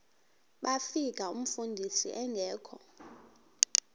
bafika umfundisi engekho